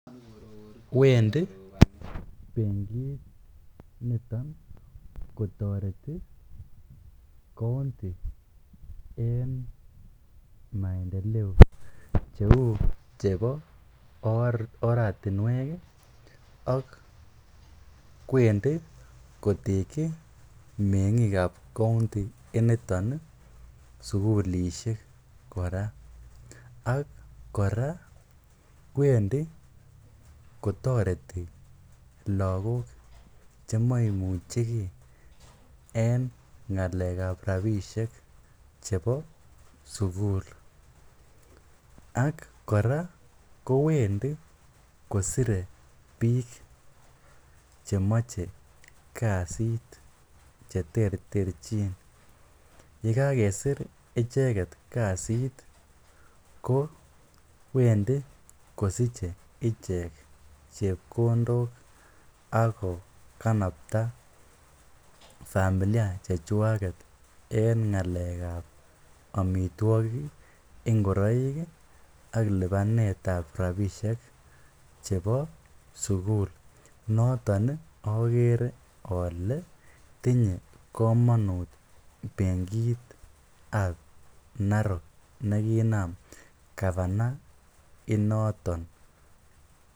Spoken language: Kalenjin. Wendi nitok kotareti kaunti eng' maendeleo chepo oratinwek ak wendi kotekchin meng'ik ap kaunti initon sukulishek. Ak kora kowendi kotareti lagok chemaimuchikei eng ngalek ap rapishek chepo sukul. Ak kora kowendi kosire piik chemoche kasiit cheterterchin. Ye kakesir icheket kasit kowendi kosiche ichek chepkondok ak kokanapta familia chechwaket eng ngalek ap amitwogik, ngoroik ak lipanet ap rapishek chepo sukul. Notok akere ale tinye kamanut benkit ap narok nekiinam gavana inotok.